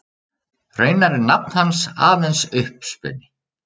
Raunar er nafn hans aðeins uppspuni.